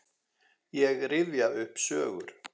Ég rifja upp sögur.